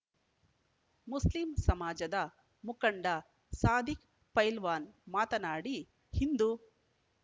Muslim ಸಮಾಜದ ಮುಖಂಡ ಸಾಧಿಕ್‌ ಪೈಲ್ವಾನ್‌ ಮಾತನಾಡಿ ಹಿಂದು